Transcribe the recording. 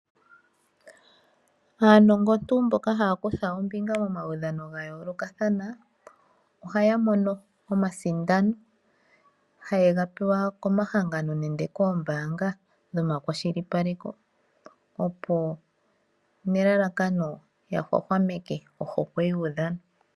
Aanongontu mboka haya kutha ombiga momaudhano ga yoolokathana, ohaya mono omasindano haye ga pewa komahangano nenge koombanga dhomakwashilipaleko, opo nelalakano ya hwahwameke ohokwe yuudhano.